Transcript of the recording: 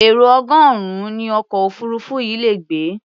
Èrò ọgọ́rùn-ún ni ọkọ̀ òfuurufú yìí le gbé.